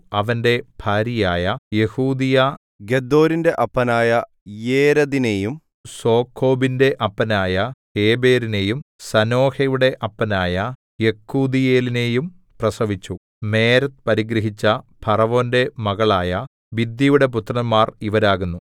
അവന്റെ ഭാര്യയായ യെഹൂദീയ ഗെദോരിന്റെ അപ്പനായ യേരെദിനെയും സോഖോവിന്റെ അപ്പനായ ഹേബെരിനെയും സാനോഹയുടെ അപ്പനായ യെക്കൂഥീയേലിനെയും പ്രസവിച്ചു മേരെദ് പരിഗ്രഹിച്ച ഫറവോന്റെ മകളായ ബിഥ്യയുടെ പുത്രന്മാർ ഇവരാകുന്നു